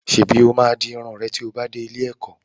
Ṣèbí ó máa di irun rẹ tí ó bá dé ilé-ẹ̀kọ́?